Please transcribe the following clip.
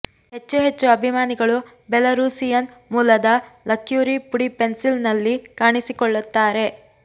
ಹೆಚ್ಚು ಹೆಚ್ಚು ಅಭಿಮಾನಿಗಳು ಬೆಲರೂಸಿಯನ್ ಮೂಲದ ಲಕ್ಯೂರಿ ಪುಡಿ ಪೆನ್ಸಿಲ್ನಲ್ಲಿ ಕಾಣಿಸಿಕೊಳ್ಳುತ್ತಾರೆ